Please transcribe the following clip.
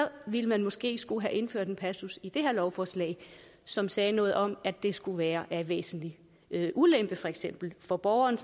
ville man måske skulle have indført en passus i det her lovforslag som sagde noget om at det skulle være af væsentlig ulempe for eksempel for borgeren